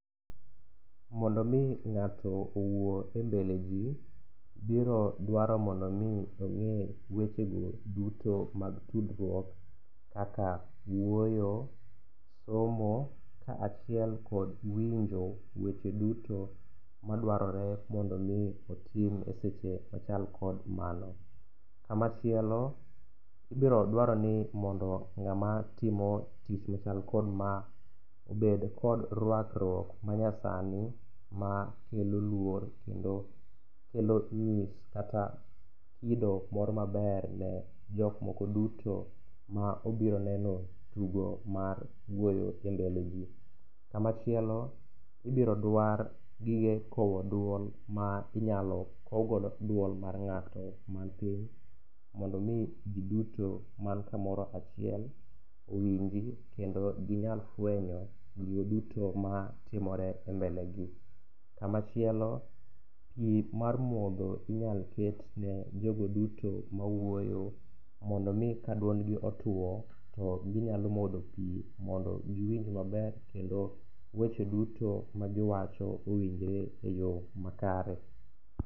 Mondo omi ng'ato owuo e mbele ji, biro dwaro mondo omi ong'e wechego duto mag tudruok kaka wuoyo, somo kaachiel kod winjo weche duto madwarore mondo omi otim e seche machal kod mano. Kamachiel ibirodwaro ni mondo ng'ama timo tich machal kod ma obed kod rwakruok manyasani makelo luor kendo kelo nyis kata kido mor maber ne jokmoko duto maobiro neno tugo mar wuoyo e mbeleji. Kamachielo ibiro dwar gige kowo duol ma inyalo kowgodo duol mar ng'ato mantie mondo omi ji duto man kamoro achiel owinji kendo ginyal fwenyo gigo duto matimore e mbelegi. Kamachielo, pi mar modho inyal ketne jogo duto mawuoyo mondo omi kaduondgi otuo to ginyalo modho pi mondo giwinj maber kendo weche duto magiwacho owinjre e yo makare.